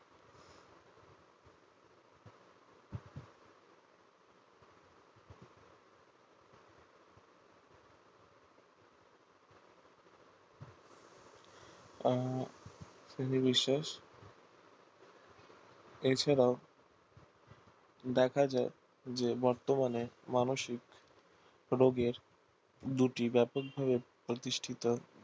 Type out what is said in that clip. আহ নির্বিশেষে এছাড়াও দেখা যায় যে বর্তমানে মানসিক রোগের দুটি ব্যাপক ভাবে প্রতিষ্ঠিত